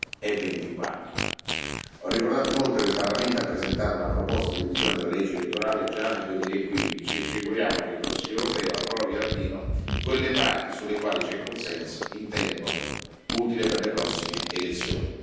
2024. Ho ricordato inoltre che il Parlamento ha presentato una proposta di revisione della legge elettorale già nel 2015 e ci auguriamo che il Consiglio europeo approvi almeno le parti sulle quali c'è consenso in tempo utile per le prossime elezioni.